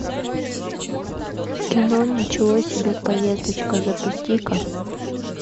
кино ничего себе поездочка запусти ка